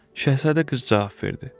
Şahzadə qız cavab verdi: